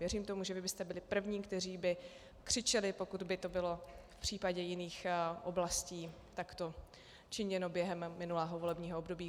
Věřím tomu, že vy byste byli první, kteří by křičeli, pokud by to bylo v případě jiných oblastí takto činěno během minulého volebního období.